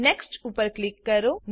next ઉપર click કરો